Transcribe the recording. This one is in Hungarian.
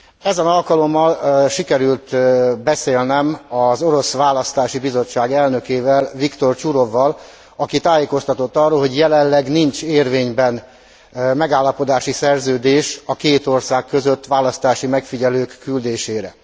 Ezen alkalommal sikerült beszélnem az orosz választási bizottság elnökével, Viktor Csurovval, aki tájékoztatott arról, hogy jelenleg nincs érvényben megállapodási szerződés a két ország között választási megfigyelők küldésére.